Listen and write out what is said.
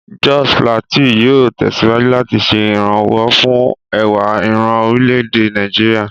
Jos Plateau yóò tẹ̀síwájú láti ṣe ìrànwọ́ fún ẹwà ìran orílẹ̀-èdè Nàìjíríà.